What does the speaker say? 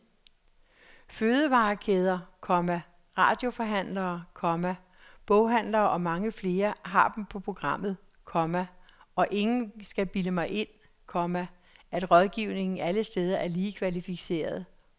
Fødevarekæder, komma radioforhandlere, komma boghandlere og mange flere har dem på programmet, komma og ingen skal bilde mig ind, komma at rådgivningen alle steder er lige kvalificeret. punktum